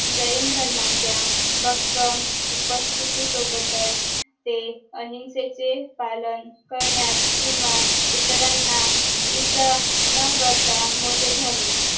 जैन धर्माच्या भाकंम उपस्तीथी सोबतच ते अहिंसेचे पालन करण्यात किंवा इतरांना इजा न करता मोठे झाले